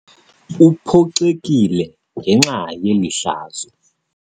Uphoxekile ngenxa yeli hlazo.